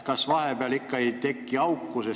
Kas vahepeal siiski ei teki auku?